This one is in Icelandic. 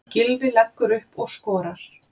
Gylfi leggur upp og skorar.